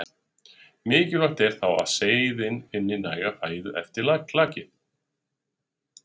Mikilvægt er þá að seiðin finni næga fæðu eftir klakið.